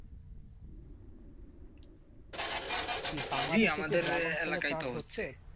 এই আমাদের এলাকায় হচ্ছে.